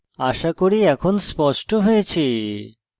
আশা করি এখন স্পষ্ট হয়েছে